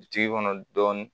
Bitigi kɔnɔ dɔɔnin